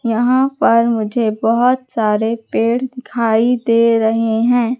यहां पर मुझे बहोत सारे पेड़ दिखाई दे रहे हैं।